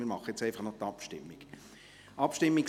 Jetzt führen wir einfach noch die Abstimmung durch.